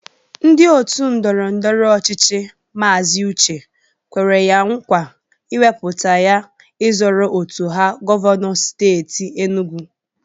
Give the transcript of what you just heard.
Ndị otu ndọrọndọrọ ọchịchị Maazi Uche kwere ya nkwa iwepụta ya ịzọrọ otu ha govanọ steeti Enugwu